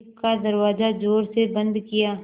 jeep का दरवाज़ा ज़ोर से बंद किया